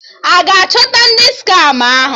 A ga-achọta ndị skama ahụ?